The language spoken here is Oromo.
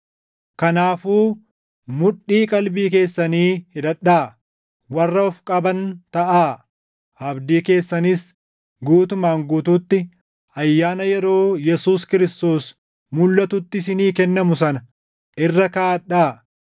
Kanaafuu mudhii qalbii keessanii hidhadhaa; warra of qaban taʼaa; abdii keessanis guutumaan guutuutti ayyaana yeroo Yesuus Kiristoos mulʼatutti isinii kennamu sana irra kaaʼadhaa.